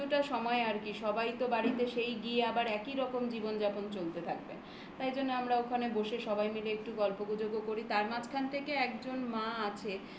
কিছুটা সময় আর কি. সবাই তো বাড়িতে সেই গিয়ে আবার একই রকম জীবন যাপন চলতে থাকবে। তাই জন্য আমরা ওখানে বসে সবাই মিলে একটু গল্পগুজব ও করি তার মাঝখান থেকে একজন মা আছে।